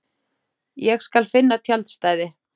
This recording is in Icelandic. Ég skal finna tjaldstæði